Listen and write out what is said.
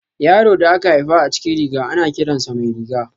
Yaron da aka haifa a cikin riga, ana kiran sa Mairiga.